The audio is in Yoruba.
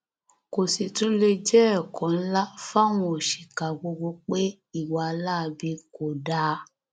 kò sì tún lè jẹ ẹkọ ńlá fáwọn òṣìkà gbogbo pé ìwà láabi kò dáa